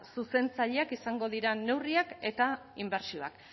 zuzentzaileak izango diren neurriak eta inbertsioak